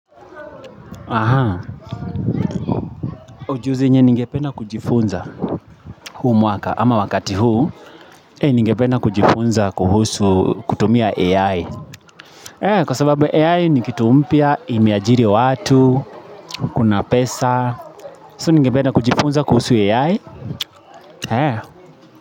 Ujuzi yenye ningependa kujifunza huu mwaka ama wakati huu Ningependa kujifunza kuhusu kutumia AI Kwa sababu AI ni kitu mpya, imeajiri watu, kuna pesa So ningependa kujifunza kuhusu AI.